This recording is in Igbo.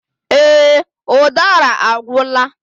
Èè, udara agwụla.